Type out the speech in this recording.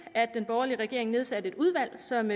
at den borgerlige regering nedsatte et udvalg som